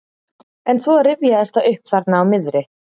En svo rifjaðist það upp þarna á miðri